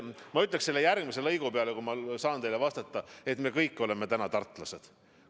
Ma ütleksin selle järgmise teema kohta, kui ma saan teile vastata, et me kõik oleme täna tartlased.